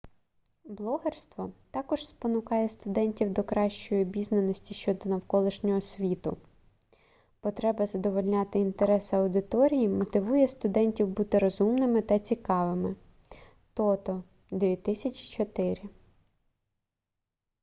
блогерство також спонукає студентів до кращої обізнаності щодо навколишнього світу". потреба задовольняти інтерес аудиторії мотивує студентів бути розумними та цікавими тото 2004